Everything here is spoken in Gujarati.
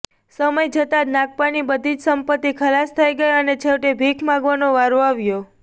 સમય જતાં નાગપ્પાની બધી જ સંપત્તિ ખલાસ થઈ ગઈ અને છેવટે ભીખ માગવાનો વારો આવ્યો